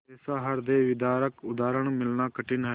ऐसा हृदयविदारक उदाहरण मिलना कठिन है